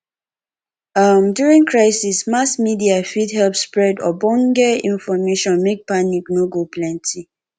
um during crisis mass media fit help spread ogbonge information make panic no go plenty